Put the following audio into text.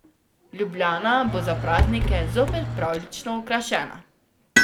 Ljubljana bo za praznike zopet pravljično okrašena.